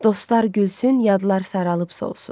Dostlar gülsün, yadlar saralıb solsun.